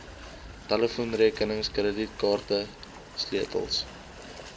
telefoonrekenings kredietkaarte sleutels